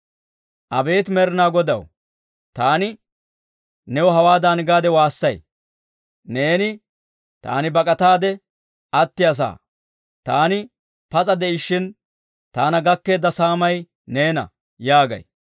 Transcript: Abeet Med'inaa Godaw, taani, new hawaadan gaade waassay; «Neeni taani bak'ataade attiyaa sa'aa; taani pas'a de'ishshin, taana gakkeedda saamay neena» yaagay.